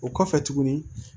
O kɔfɛ tuguni